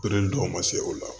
dɔw ma se o la